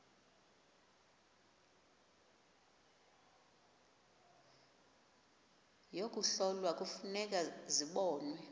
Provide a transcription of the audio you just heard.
yokuhlola kufuneka zibonwe